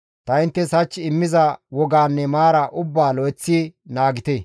ta inttes hach immiza wogaanne maaraa ubbaa lo7eththi naagite.